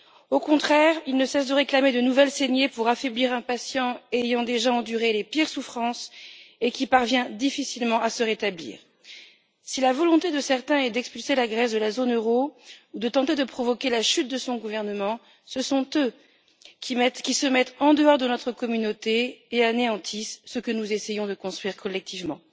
Au contraire, ils ne cessent de réclamer de nouvelles saignées pour affaiblir un patient ayant déjà enduré les pires souffrances et qui parvient difficilement à se rétablir. Si la volonté de certains est d'expulser la Grèce de la zone euro ou de tenter de provoquer la chute de son gouvernement, ce sont eux qui se mettent en dehors de notre communauté et anéantissent ce que nous essayons de construire collectivement.